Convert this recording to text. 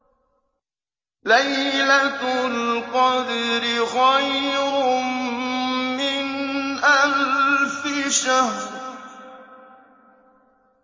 لَيْلَةُ الْقَدْرِ خَيْرٌ مِّنْ أَلْفِ شَهْرٍ